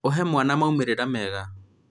ũhe mwana maumĩrĩra mega